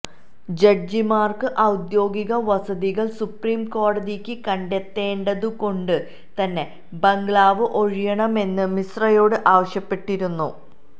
ജഡ്ജിമാർക്ക് ഔദ്യോഗിക വസതികൾ സുപ്രീം കോടതിക്ക് കണ്ടെത്തേണ്ടതുകൊണ്ട് തന്നെ ബംഗ്ലാാവ് ഒഴിയണമെന്ന് മിശ്രയോട് ആവശ്യപ്പെട്ടിരുന്നു